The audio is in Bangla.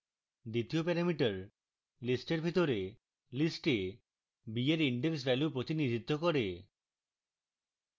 দ্বিতীয় parameter list এর ভিতরে list এ b এর index value প্রতিনিধিত্ব করে